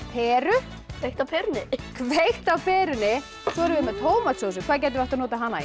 peru kveikt á perunni kveikt á perunni svo erum við með tómatsósu í hvað getum við notað hana í